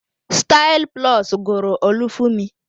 Style plus guru Olufumi